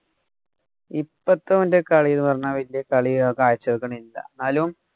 ഇപ്പത്തെ ഓന്‍റെ കളീന്നു പറഞ്ഞാ വലിയ കളി അവന്‍ കാഴ്ച വക്കണില്ല. എന്നാലും